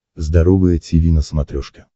здоровое тиви на смотрешке